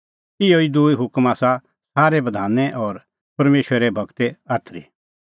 ईंयां ई दूई हुकम आसा सारै बधाने और परमेशरे गूरे आथरी